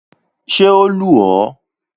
Ṣé o lù ọ́?